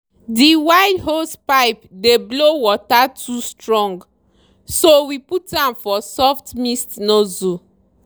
the wide hosepipe dey blow water too strong so we put am for soft mist nozzle.